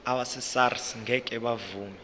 abesars ngeke bavuma